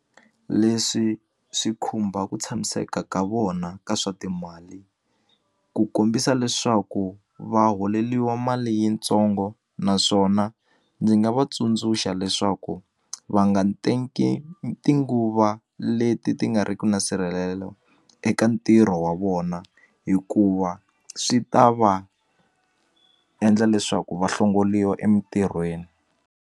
Leswi swi khumba ku tshamiseka ka vona ka swa timali ku kombisa leswaku va holeliwa mali yintsongo naswona ndzi nga va tsundzuxa leswaku va nga nteki tinguva leti ti nga riku na nsirhelelo eka ntirho wa vona hikuva swi ta va endla leswaku va hlongoliwa emintirhweni.